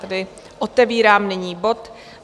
Tedy otevírám nyní bod